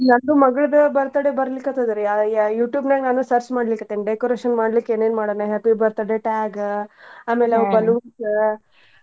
ಇದು ನಂದು ಮಗಳ್ದು birthday ಬರ್ಲಿ ಕತ್ತದ್ ರೀ ಆ~ ಯಾ~ YouTube ನ್ಯಾಗ್ ನಾನೂ search ಮಾಡ್ಲಿ ಕತ್ತೇನ್ decoration ಮಾಡ್ಲೀಕ್ ಏನೇನ್ ಮಾಡೋಣ happy birthday tag ಅಮೇಲ್ balloons .